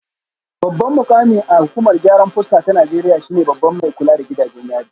Babban mukami a hukumar gyaran fuska ta Najeriya shine babban mai kula da gidajen yari